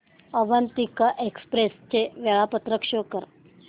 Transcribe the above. Avantika express चे वेळापत्रक show कर